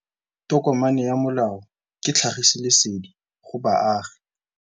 Tokomane ya molao ke tlhagisi lesedi go baagi.